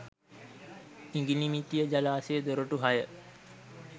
ඉඟිණිමිටිය ජලාශය දොරටු හය